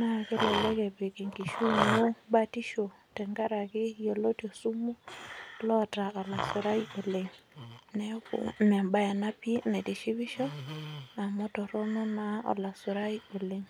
naa kelelek epik enkishui ino batisho tenkaraki yioloti osumu loota olasurai oleng neeku membaye ena pii naitishipisho amu torrono naa olasurai oleng.